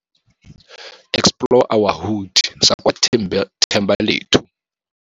Explore our Hood, sa kwa Thembalethu.